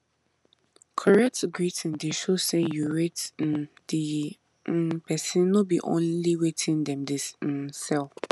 correct greeting dey show say you rate um the um persin no be only wetin dem dey um sell